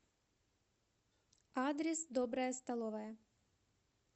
адрес добрая столовая